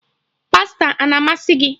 Pasta a na-amasị gị?